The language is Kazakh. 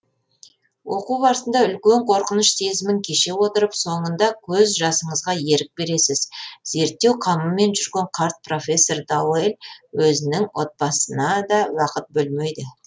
оқу барысында үлкен қорқыныш сезімін кеше отырып соңында көз жасыңызға ерік бересіз зерттеу қамымен жүрген қарт профессор дауэль өзінің отабасына да уақыт бөлмейді